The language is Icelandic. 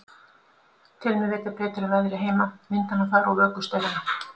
Tel mig vita betur um veðrið heima, vindana þar og vökustaurana.